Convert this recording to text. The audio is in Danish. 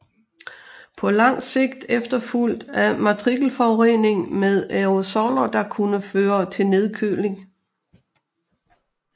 På langt sigt efterfulgt af partikelforurening med aerosoller der kunne føre til nedkøling